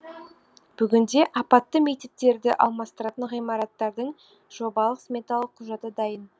бүгінде апатты мектептерді алмастыратын ғимараттардың жобалық сметалық құжаты дайын